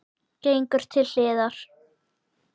Gengur til hliðar.